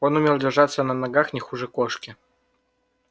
он умел держаться на ногах не хуже кошки